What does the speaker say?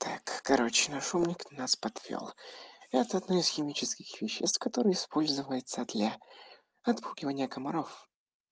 так короче наш умник нас подвёл это одно из химических веществ которые используются для отпугивания комаров